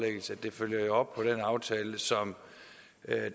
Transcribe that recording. så